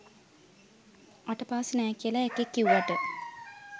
අට පාස් නෑ කියල එකෙක් කිව්වට